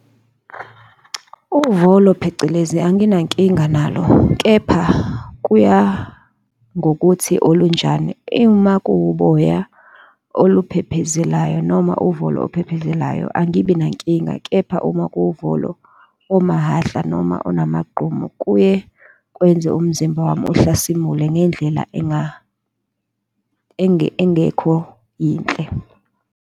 Uvolo phecelezi anginankinga nalo, kepha kuya ngokuthi olunjani. Uma kuwuboya oluphephezelayo noma uvolo ophephezelayo angibi nenkinga, kepha uma kuwuvolo omahhahla noma onamagqumu, kuye kwenze umzimba wami uhlasimule ngendlela engekho yinhle.